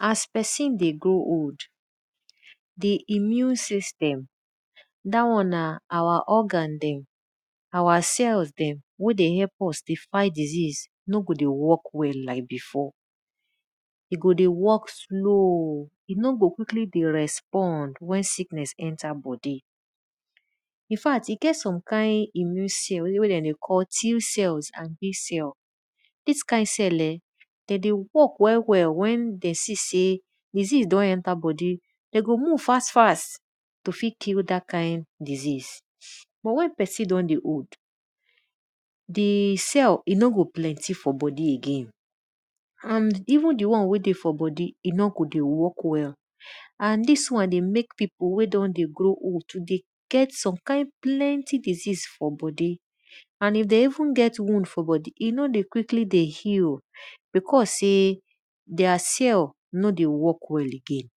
as pesin dey grow old, di immune system da won na our organ dey our cells who dey help s dey fight diseases no go dey work well like before. E go dey work slow, e no go quickly dey respond wen sickness enter our bodi. Infat e get some kind immune cell wey den dey call Tcells and Bcells. Dis kind cell[um]de dey work well wen de see sey diseases don enter bodi den go move fast fast to fit kill dat kind diseases. But wen pesin don dey old, di cell e no go plenty for bodi again and even di won wey dey for bodi, e no go dey work well and dis won dey mek pippu wey don dey grow old to dey get some kind plenty diseases for bodi, and if den even get wound for bodi, e no dey quickly dey heal because sey their cell no dey work well again.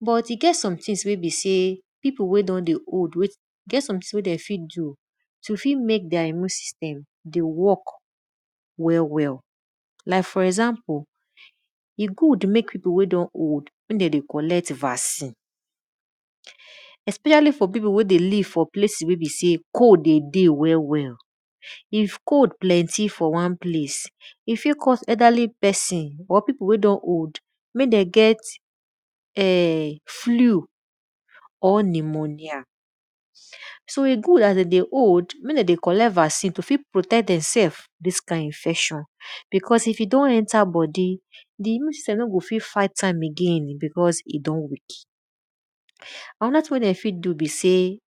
But e get something wey be sey wey den fit do to fit mek their immune system dey work well well like for example e good mek pipu wey don old mek demn dey collect vaccine, especially for pipu wey dey live for place wy cold dey well well. If cold plenty for wan place e fit cause elderly pesin or pipu wey don old mek den get flew or pneumonia. So e good as den dey old mek de dey collect vaccine to tek fight am because if e don enter bodi, di immune system no go fit fight am again because de don weak. Anoda thing wey de fit do be say,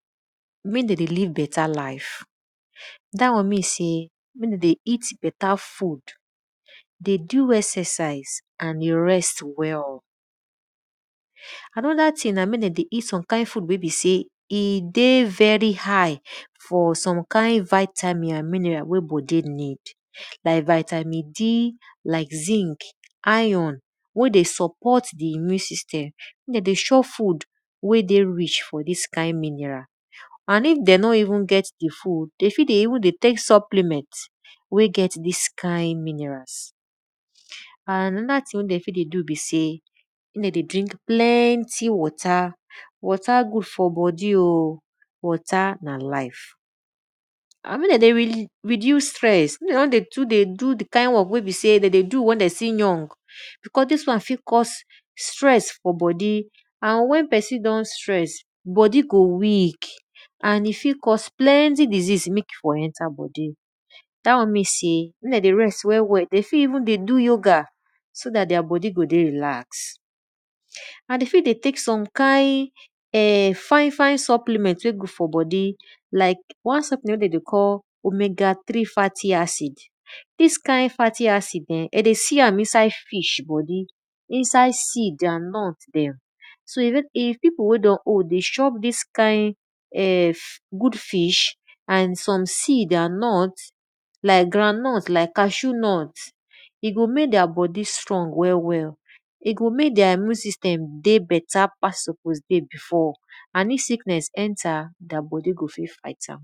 mek den dey live beta life, dat won mey you see mek e dey eat beta food, dey d exercise and dey rest well. Anoda thing na mek den dey eat some kind food wey be sey e dey very high for some kind vatimin wey bodi need like vitamin like zinc iron mek dem support di immune system me de dey chop food wey dey rich for this kind mineral and if de no realy get di food, de fit dey tek supplement wey get dis kind minerals. And anoda thing wey de fit dey do be sey mey de dey drink plenty water. Water good for bodi o, water na life. Andmek de dey reduce stress and ek de no dey do di kind won wey be sey de dey do wen de still young because dia wan fit cause stress for bodi and wen pesin don stress bodi go weak and e fit cause plenty disesase mek e for enter bodi. Dat won mean sey mek demn dey rest well well de fit even dey do yoga so dat their bodi go dey relax. And de fit even dey tek some kind fine fine supplement wey dey good for bodi like one wey dey dey call omega 3 fatty acid. Dis kind fatty aide eh de dey see am for fish bodi so if pipu wey don old dey chop dis kind good fish, and some seed are not like grandnut lke cashew nut, e go mek their bodi strong well well, e go mek their immune system dey beta pass they go dey before and their immune system go fit fight am.